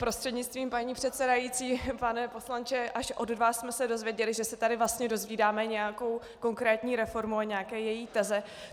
Prostřednictvím paní předsedající pane poslanče, až od vás jsme se dozvěděli, že se tady vlastně dozvídáme nějakou konkrétní reformu a nějaké její teze.